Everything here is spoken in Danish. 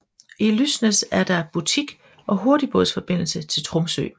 I Lysnes er der butik og hurtigbådsforbindelse til Tromsø